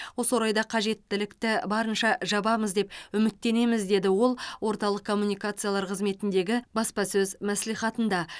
осы орайда қажеттілікті барынша жабамыз деп үміттенеміз деді ол орталық коммуникациялар қызметіндегі баспасөз мәслихатында